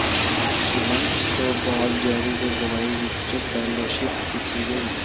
ਸ਼ਿਹਨ ਇਸ ਤੋਂ ਬਾਅਦ ਜੈਰੀ ਦੇ ਦਵਾਈ ਵਿਚ ਫੈਲੋਸ਼ਿਪ ਕੀਤੀ ਗਈ